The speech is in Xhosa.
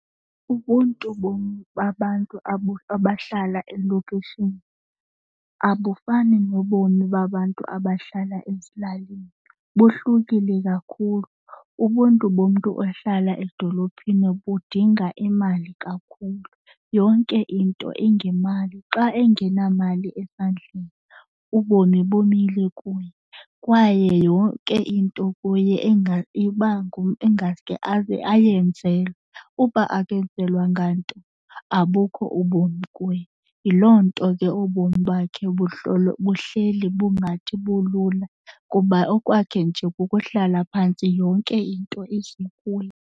Ubuntu babantu abahlala elokishini abufani nobomi babantu abahlala ezilalini, bohlukile kakhulu. Ubuntu bomntu ohlala edolophini budinga imali kakhulu, yonke into ingemali. Xa engenamali esandleni ubomi bumile kuye, kwaye yonke into kuye ingaske ayenzelwe. Ukuba akenzelwanga nto abukho ubomi kuye. Yiloo nto ke ubomi bakhe buhleli bungathi bulula kuba okokwakhe nje kukuhlala phantsi yonke into ize kuye.